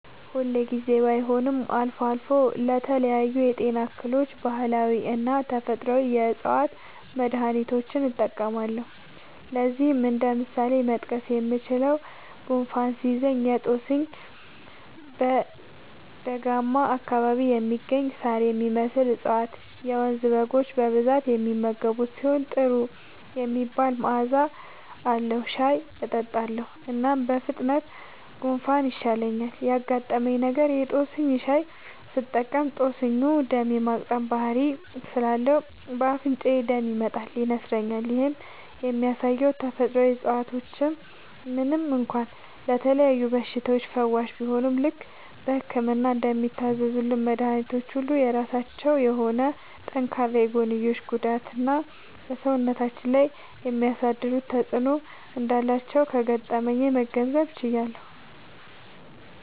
ሁል ጊዜ ባይሆንም አልፎ አልፎ ለተለያዩ የጤና እክሎች ባህላዊና ተፈጥአዊ የ ዕፅዋት መድሀኒቶችን እጠቀማለሁ። ለዚህም እንደ ምሳሌ መጥቀስ የምችለው፣ ጉንፋን ሲይዘኝ የ ጦስኝ (በደጋማ አካባቢ የሚገኝ ሳር የሚመስል እፀዋት - የመንዝ በጎች በብዛት የሚመገቡት ሲሆን ጥሩ የሚባል መዐዛ አለዉ) ሻይ እጠጣለሁ። እናም በፍጥነት ጉንፋኑ ይሻለኛል። ያጋጠመኝ ነገር:- የ ጦስኝ ሻይ ስጠቀም ጦስኙ ደም የ ማቅጠን ባህሪ ስላለው በ አፍንጫዬ ደም ይመጣል (ይነስረኛል)። ይህም የሚያሳየው ተፈጥሮአዊ እፀዋቶች ምንም እንኳ ለተለያዩ በሽታዎች ፈዋሽ ቢሆኑም፣ ልክ በህክምና እንደሚታዘዙልን መድኃኒቶች ሁሉ የራሳቸው የሆነ ጠንካራ የጎንዮሽ ጉዳትና በ ሰውነታችን ላይ የሚያሳድሩት ተጵዕኖ እንዳላቸው ከገጠመኜ መገንዘብ ችያለሁ።